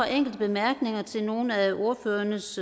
enkelte bemærkninger til nogle af ordførernes